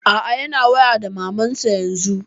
A'a yana waya da maman sa yanzun.